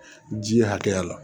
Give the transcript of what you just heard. Ji hakɛya la